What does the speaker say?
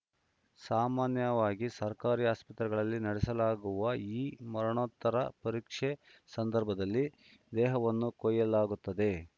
ಸಾಮಾನ್ಯವಾಗಿ ಸರ್ಕಾರಿ ಆಸ್ಪತ್ರೆಗಳಲ್ಲಿ ನಡೆಸಲಾಗುವ ಈ ಮರಣೋತ್ತರ ಪರೀಕ್ಷೆ ಸಂದರ್ಭದಲ್ಲಿ ದೇಹವನ್ನು ಕೊಯ್ಯಲಾಗುತ್ತದೆ